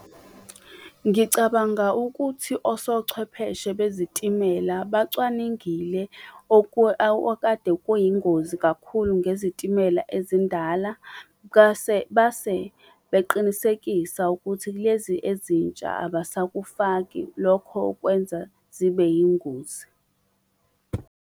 Ngicabanga ukuthi osochwepheshe bezitimela bacwaningile okade kuyingozi kakhulu ngezitimela ezindala, base beqinisekisa ukuthi kulezi ezintsha abasakufaki lokho okwenza zibe yingozi.